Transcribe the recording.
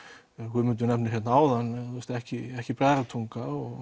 Guðmundur nefnir hérna áðan ekki ekki Bræðratunga og